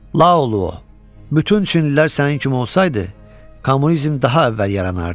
Lao oğlu, bütün çinlilər sənin kimi olsaydı, kommunizm daha əvvəl yaranardı.